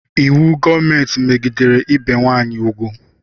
Íwú gọọmenti megidere ibe nwanyị ugwu